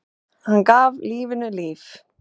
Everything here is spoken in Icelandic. Hann gaf lífinu lit.